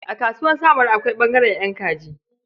A Kasuwar samaru akwai ɓangaren ƴan kaji.